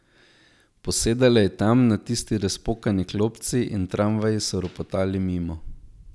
Posedala je tam, na tisti razpokani klopci, in tramvaji so ropotali mimo.